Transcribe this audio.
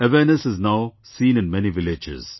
Awareness is now seen in many villages